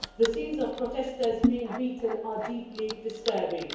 The scenes of protesters being beaten are deeply disturbing.